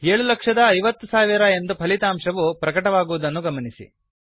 750000 ಎಂದು ಫಲಿತಾಶವು ಪ್ರಕಟವಾಗುವುದನ್ನು ಗಮನಿಸಿ